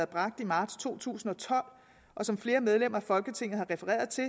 bragt i marts to tusind og tolv og som flere medlemmer af folketinget har refereret til